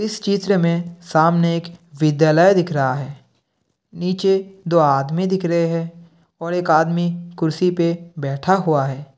इस चित्र में सामने एक विद्यालय दिख रहा है| नीचे दो आदमी दिख रहे हैं और एक आदमी कुर्सी पर बैठा हुआ है।